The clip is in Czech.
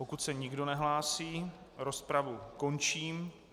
Pokud se nikdo nehlásí, rozpravu končím.